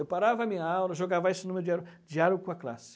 Eu parava a minha aula, deixa eu gravar esse número diário diário com a classe.